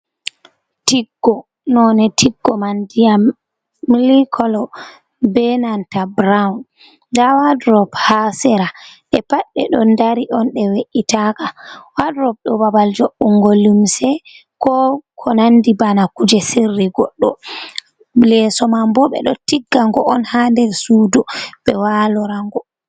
Tikko none tikko man ndiyam mili kolo be nanta buruwun nda wadrop ha sera ɓe pat ɓe ɗon dari on ɗe we’’itaka wadrop ɗo babal joddun go lumse ko ko nandi bana kuje sirri goɗɗo leso man bo be do tigga go on ha nder sudu be walorango.